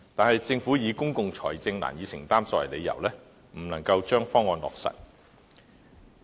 可是，政府以公共財政難以承擔作為理由，未將方案落實。